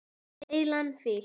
Heilan fíl.